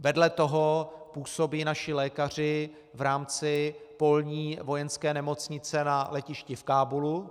Vedle toho působí naši lékaři v rámci polní vojenské nemocnice na letišti v Kábulu.